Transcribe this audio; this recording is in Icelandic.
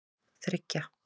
þriggja